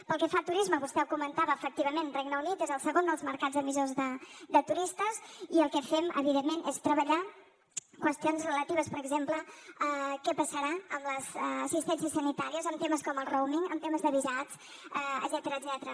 pel que fa al turisme vostè ho comentava efectivament el regne unit és el segon dels mercats emissors de turistes i el que fem evidentment és treballar qüestions relatives per exemple a què passarà amb les assistències sanitàries amb temes com el roaming amb temes de visats etcètera